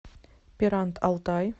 пирант алтай